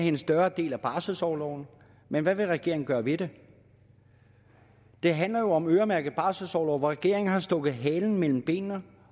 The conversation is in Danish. en større andel af barselsorloven men hvad vil regeringen gøre ved det det handler jo om øremærket barselsorlov men regeringen har stukket halen mellem benene